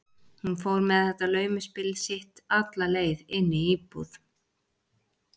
Hún fór með þetta laumuspil sitt alla leið inn í íbúð